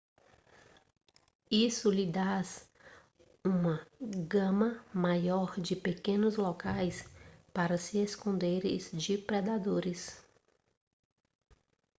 isso lhes dá uma gama maior de pequenos locais para se esconderem de predadores